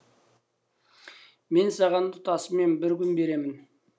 мен саған тұтасымен бір күн беремін